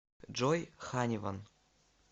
джой ханиван